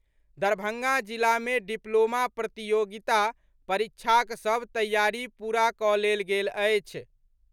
दरभंगा जिला मे डिप्लोमा प्रतियोगिता परीक्षाक सभ तैयारी पूरा कऽ लेल गेल अछि।